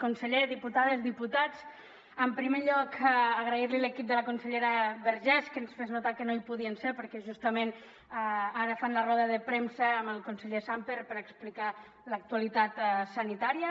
conseller diputades diputats en primer lloc agrair li a l’equip de la consellera vergés que ens fes notar que no hi podien ser perquè justament ara fan la roda de premsa amb el conseller sàmper per explicar l’actualitat sanitària